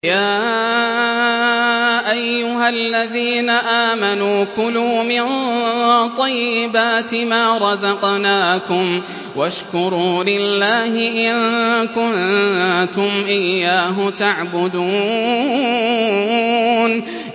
يَا أَيُّهَا الَّذِينَ آمَنُوا كُلُوا مِن طَيِّبَاتِ مَا رَزَقْنَاكُمْ وَاشْكُرُوا لِلَّهِ إِن كُنتُمْ إِيَّاهُ تَعْبُدُونَ